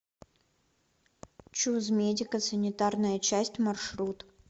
чуз медико санитарная часть маршрут